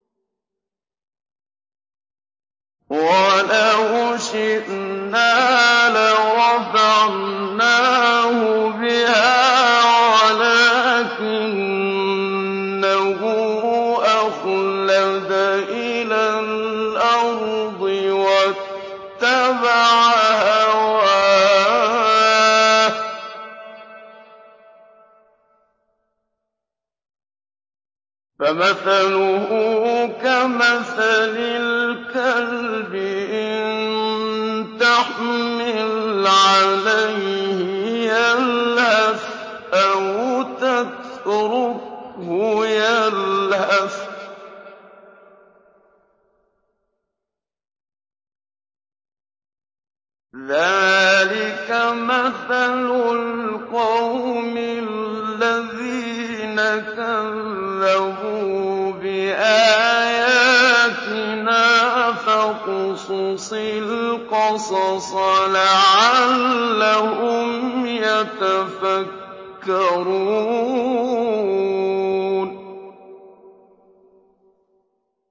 وَلَوْ شِئْنَا لَرَفَعْنَاهُ بِهَا وَلَٰكِنَّهُ أَخْلَدَ إِلَى الْأَرْضِ وَاتَّبَعَ هَوَاهُ ۚ فَمَثَلُهُ كَمَثَلِ الْكَلْبِ إِن تَحْمِلْ عَلَيْهِ يَلْهَثْ أَوْ تَتْرُكْهُ يَلْهَث ۚ ذَّٰلِكَ مَثَلُ الْقَوْمِ الَّذِينَ كَذَّبُوا بِآيَاتِنَا ۚ فَاقْصُصِ الْقَصَصَ لَعَلَّهُمْ يَتَفَكَّرُونَ